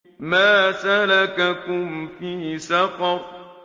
مَا سَلَكَكُمْ فِي سَقَرَ